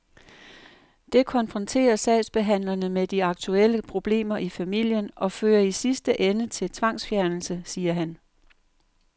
Det konfronterer sagsbehandlerne med de aktuelle problemer i familien og fører i sidste ende til tvangsfjernelse, siger han.